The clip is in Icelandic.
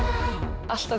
alltaf